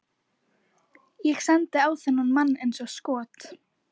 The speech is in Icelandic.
Ég sendi á þennan mann eins og skot.